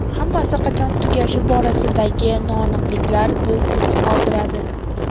Hammasi qachon tugashi borasidagi noaniqliklar bu iz qoldiradi.